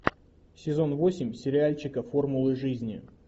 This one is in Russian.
сезон восемь сериальчика формулы жизни